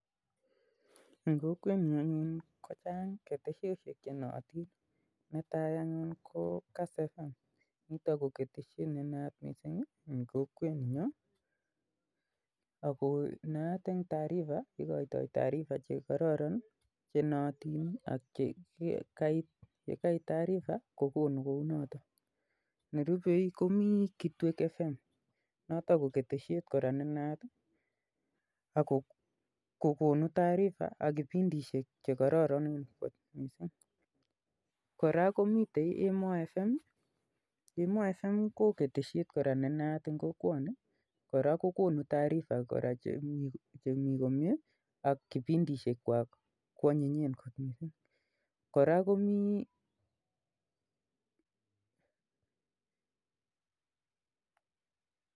Mii keteshetap kass fm nenaat eng taarifa chechwaket koraa komii kitwek fm konaat eng kipindishek chekororon koraa komii emoo fm